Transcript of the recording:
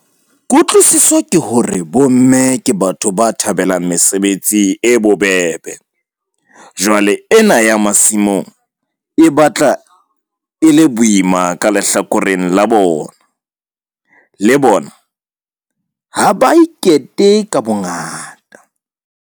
Kutlwisiso ke hore bo mme ke batho ba thabelang mesebetsi e bobebe. Jwale ena ya masimong e batla e le boima ka lehlakoreng la bona, le bona ha ba ikete ka bongata.